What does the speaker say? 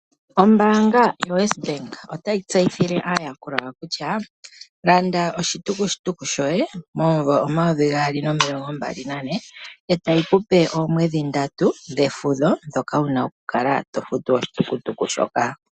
Ombaanga yoWesbank otayi tseyithile aayakulwa yawo kutya landa oshitukutuku shoye momumvo 2024, e tayi kupe oomwedhi ndatu dhefudho ndhoka wu na oku kala to futu oshitukutuku shoka.